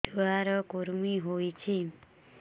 ଛୁଆ ର କୁରୁମି ହୋଇଛି